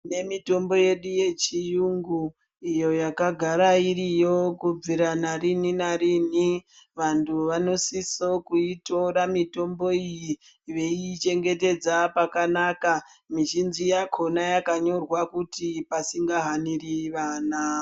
Tine mitombo yedu yechiyungu iyo yakagara iriyo kubvira nariini nariini. Vantu vanosise kuitora mitombo iyi veiichengetedza pakanaka. Mizhinji yakhona yakanyorwa kuti pasingahaniri vana.